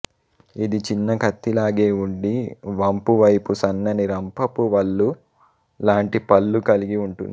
ఇది చిన్న కత్తి లాగె వుండి వంపు వైపు సన్నని రంపపు వళ్లు లాంటి పళ్లు కలిగి వుంటుంది